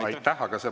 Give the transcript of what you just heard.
Aitäh!